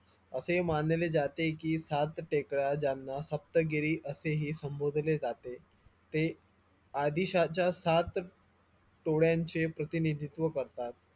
असे मानले जाते की सात टेकड्या ज्यांना सप्तगिरी असेही संबोधले जाते ते आदिशांच्या सात तोड्यांचे प्रतिनिधित्व करतात